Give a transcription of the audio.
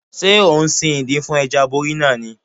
Ṣé ò ń sin ìdin fún Ẹja aborí náà ni?